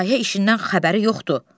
Layihə işindən xəbəri yoxdur.